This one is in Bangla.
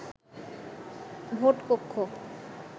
ভোট কক্ষ